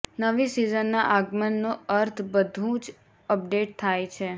નવી સિઝનના આગમનનો અર્થ બધું જ અપડેટ થાય છે